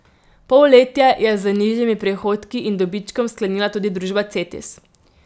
Polletje je z nižjimi prihodki in dobičkom sklenila tudi družba Cetis.